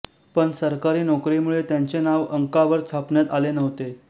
पण सरकारी नोकरीमुळे त्यांचे नाव अंकावर छापण्यात आले नव्हते